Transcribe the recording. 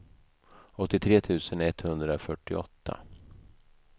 åttiotre tusen etthundrafyrtioåtta